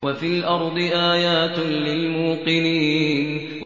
وَفِي الْأَرْضِ آيَاتٌ لِّلْمُوقِنِينَ